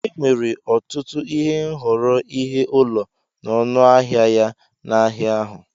Enwere ọtụtụ nhọrọ ihe ụlọ na ọnụ ahịa ya n'ahịa ahu.